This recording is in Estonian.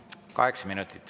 Kaheksa minutit.